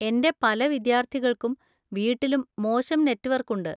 എന്റെ പല വിദ്യാർത്ഥികൾക്കും വീട്ടിലും മോശം നെറ്റ്‌വർക്ക് ഉണ്ട്.